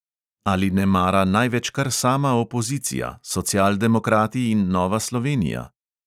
Ali nemara največ kar sama opozicija, socialdemokrati in nova slovenija?